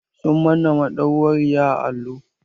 Sun manna madauwari a allo.